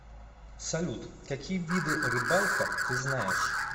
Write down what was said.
салют какие виды рыбалка ты знаешь